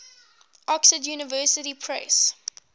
oxford university press